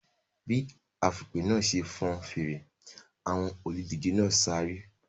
Bí afùnpè náà ṣe fọn fèrè, àwọn olùdíje náà sáré.